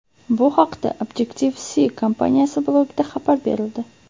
Bu haqda Objectibe-See kompaniyasi blogida xabar berildi .